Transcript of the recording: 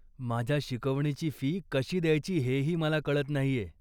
माझ्या शिकवणीची फी कशी द्यायची हेही मला कळत नाहीय.